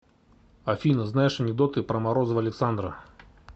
афина знаешь анекдоты про морозова александра